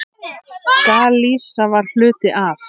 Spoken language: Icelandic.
Galisía var hluti af